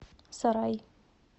сарай